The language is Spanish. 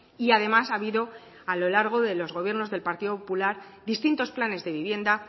y además ha habido a lo largo de los gobiernos del partido popular distintos planes de vivienda